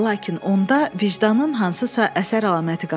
Lakin onda vicdanın hansısa əsər əlaməti qalırdı.